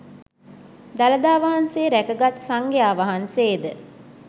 දළදා වහන්සේ රැකගත් සංඝයා වහන්සේ ද